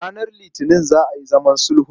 Ranar Litinin za a yi zaman sulhun.